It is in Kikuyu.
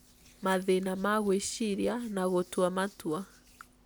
mathina ma gwĩciria na gũtua matua